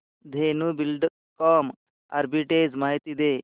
Dhenu Buildcon arbitrage माहिती दे